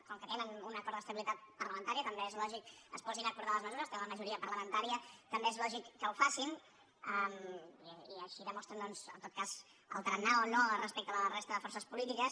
com que tenen un acord d’estabilitat parlamentària també és lògic que es posin a acordar les mesures tenen la majoria parlamentària també és lògic que ho facin i així demostren doncs en tot cas el tarannà o no respecte a la resta de forces polítiques